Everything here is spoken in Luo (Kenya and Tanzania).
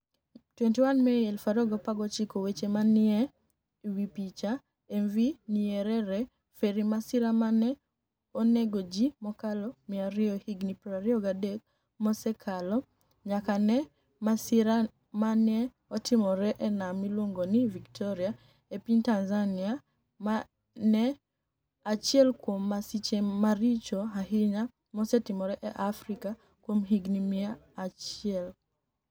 21 Mei 2019 weche maniyieni e wi Picha, MV niyerere ferry masira ma noni ego ji mokalo 200 hignii 23 mose osekalo niyaka ni e masira ma ni e otimore e niam miluonigo nii Victoria e piniy Tanizaniia, ma eni achiel kuom masiche maricho ahiniya mosetimore e Afrika kuom hignii mia achiel.